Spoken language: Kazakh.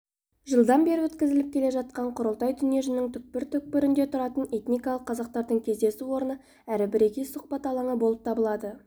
жылдан бері өткізіліп келе жатқан құрылтай дүниежүзінің түкпір-түкпірінде тұратын этникалық қазақтардың кездесу орны әрі бірегей сұхбат алаңы болып табылады